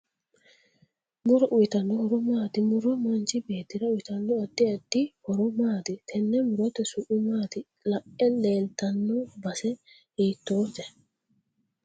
Muro uyiitanno horo maati muro manchi beetira uyiitanno addi addi horo maati tenne murote su'mi maati iae leeltanno base hiitoote